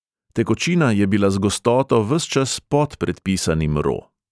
Tekočina je bila z gostoto ves čas pod predpisanim ro.